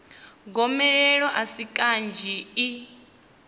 gomelelo a si kanzhi i